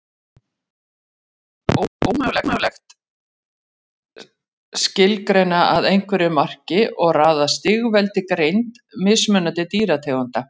Því er ómögulegt skilgreina að einhverju marki og raða í stigveldi greind mismunandi dýrategunda.